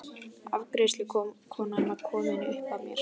Afgreiðslukonan var komin upp að mér.